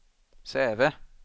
Säve